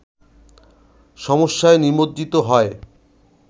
সমস্যায় নিমজ্জিত হয়